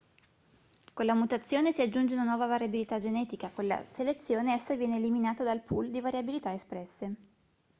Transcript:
con la mutazione si aggiunge una nuova variabilità genetica con la selezione essa viene eliminata dal pool di variabilità espresse